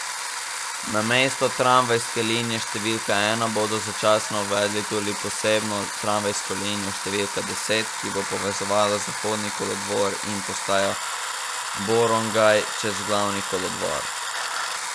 Namesto tramvajske linije številka ena bodo začasno uvedli tudi posebno tramvajsko linijo številka deset, ki bo povezovala Zahodni kolodvor in postajo Borongaj čez glavni kolodvor.